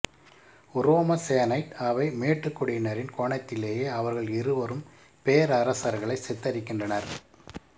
உரோம senate அவை மேட்டுக்குடியினரின் கோணத்திலேயே அவர்கள் இருவரும் பேரரசர்களை சித்தரிக்கின்றனர்